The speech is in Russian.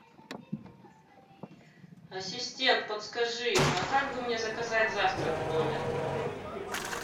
ассистент подскажи а как бы мне заказать завтрак в номер